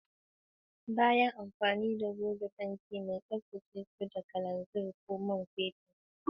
Bayan amfani da goge fenti mai, tsaftace su da kananzir ko man fetur.